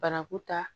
Banaku ta